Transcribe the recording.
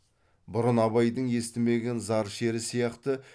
бұрын абайдың естімеген зар шері сияқты